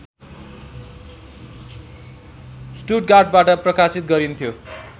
स्टुटगार्टबाट प्रकाशित गरिन्थ्यो